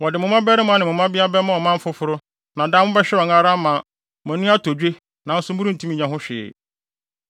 Wɔde mo mmabarima ne mo mmabea bɛma ɔman foforo na daa mobɛhwɛ wɔn ara ama mo ani atɔ dwe nanso morentumi nyɛ ho hwee.